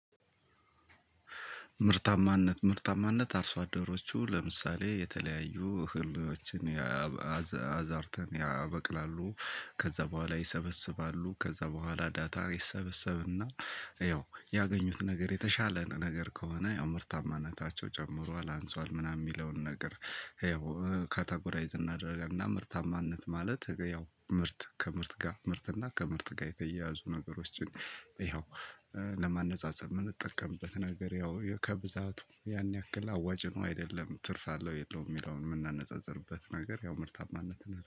ምርታማነት ምርታማነት አርሶ አደሮቹ ለምሳሌ የተለያዩ እህሎችን አዝዕርትን ያበቅላሉ። ከዛ በኋላ ይሰበስባሉ። ከዛ በኋላ ዳታ ይሰበሰብና ያው ያገኙት ነገር የተሻለ ነገር ከሆነ ያው ምርታማነታቸው ጨምሯል፤ አንሷል፤ ምናምን የሚለውን ነገር ይኸው ካታጎራይዝ እናደርግ እና ምርታማነት ማለት ያው ምርት ከምርት ጋር ምርት እና ከምርት ጋር የተያያዙ ነገሮችን ይኸው ለማነፃፀር የምንጠቀምበት ነገር ያው ከብዛቱ ያን ያክል አዋጭ ነው፤ አይደለም፤ ትርፍ አለው፤ የለውም፤ የሚለውን የምናነጻጽርበት ነገር ያው ምርታማነትን